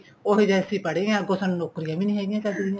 ਉਹ ਜਾ ਅਸੀਂ ਪੜ੍ਹੇ ਆ ਕੁੱਝ ਸਾਨੂੰ ਨੋਕਰੀਆਂ ਵੀ ਨੀਂ ਹੈਗੀਆਂ ਚੱਜ ਦੀਆਂ